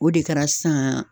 O de kɛra sisan